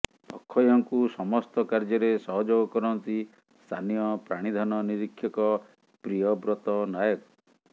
ଅକ୍ଷୟଙ୍କୁ ସମସ୍ତ କାର୍ଯ୍ୟରେ ସହଯୋଗ କରନ୍ତି ସ୍ଥାନୀୟ ପ୍ରାଣୀଧନ ନିରିକ୍ଷକ ପ୍ରିୟବ୍ରତ ନାୟକ